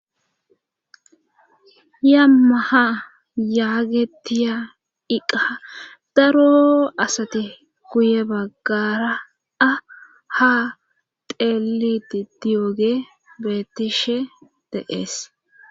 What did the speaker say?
yammaha yaagetiya iqa daro asati guye baggara a ha teeliti diyooge beetishe de7ees